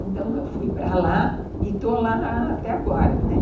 Então, eu fui para lá e estou lá até agora, né.